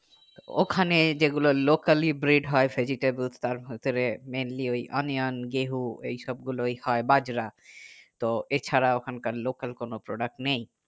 ওখানে যে গুলো local ই bread হয় vegetables তার ভিতরে meanly ওই onioun গেহ এই সব গুলো হয় বাজরা তো এছাড়া ওখানকার local কোনো product নেই